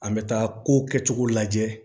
An bɛ taa ko kɛcogo lajɛ